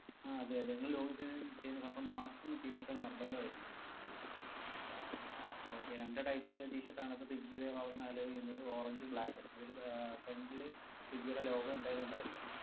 ആ അതെ അതെ, നിങ്ങൾ login ചെയ്യു~ ചെയ്യുന്ന സമയത്ത് mask ഉം t-shirt ഉം നിർബന്ധമായിരിക്കും. okay രണ്ടു type t-shirt ആണ്‌ ഇപ്പൊ സ്വിഗ്ഗിയുടെ ഭാഗത്തു നിന്നു allow ചെയ്യുന്നത്, orange ഉം black ഉം, അതില് front ഇല് സ്വിഗ്ഗിയുടെ logo എന്തായാലും ഉണ്ടായിരിക്കണം.